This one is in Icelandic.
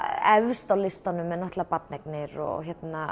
efst á listanum er barneignir og